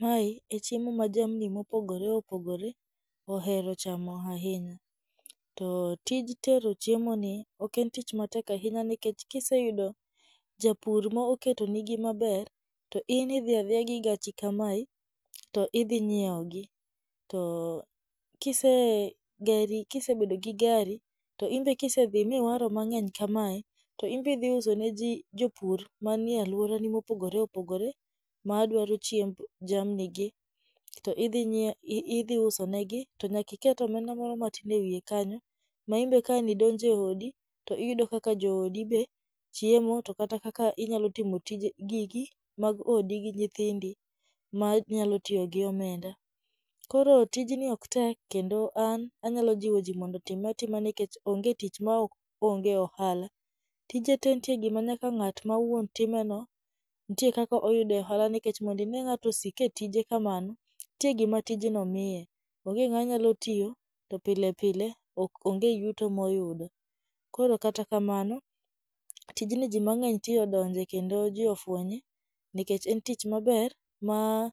Mae e chiemo ma jamni mopogore opogore ohero chamo ahinya. To tij tero chiemoni ok en tich matek ahinya nikech kiseyudo japur mo oketonigi maber, to in idhi adhiya gi gachi kamae to idhi nyieo gi. To kise geri kisebedo gi gari to inbe kisedhi miwaro mang'eny kamae, to inbe idhi uso ne ji ne jopur manie alworani mopogore opogore ma dwaro chiemb jamni gi, to idhi nyie idhi use negi, to nyaka iket e omenda moro matin e wiye kanyo ma inbe ka an idonjo e odi to iyudo kaka jodi be chiemo, to kaka inyalo timo tije gigi mag odi gi nyithindi ma nyalo tiyo gi omenda. Koro tijni ok tek kendo an anyalo jiwo ji mondo otime atime nikech onge tich ma onge ohala. Tije te nitie gima nyaka ng'at ma wuon time no, ntie kaka oyude ohala nikech mondo ine ka ng'ato sik e tije kamano nitie gima tijno miye. Onge ng'ama nyalo tiyo to pile pile ok onge yuto ma oyudo. Koro kata kamano, tijni ji mang'eny ti odonje kendo ji ofwenye nikech en tich maber ma